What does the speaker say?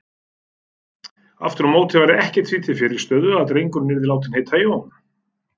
Aftur á móti væri ekkert því til fyrirstöðu að drengurinn yrði látinn heita Jón.